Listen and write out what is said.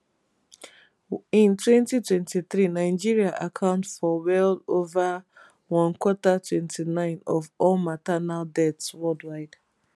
in 2023 nigeria account for well ova one quarter 29 of all maternal deaths worldwide